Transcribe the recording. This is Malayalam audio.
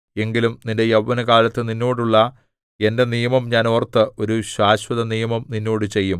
എങ്കിലും നിന്റെ യൗവനകാലത്ത് നിന്നോടുള്ള എന്റെ നിയമം ഞാൻ ഓർത്ത് ഒരു ശാശ്വതനിയമം നിന്നോട് ചെയ്യും